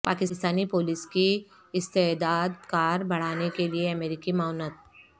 Pakistani police کی استعداد کار بڑھانے کے لیے امریکی معاونت